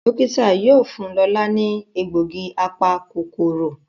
Dókítà yóò fún Lọla ní egbògi apa-kòkòrò.